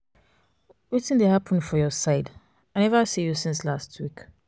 wetin dey hapun for your side? i neva see you since you since lastweek.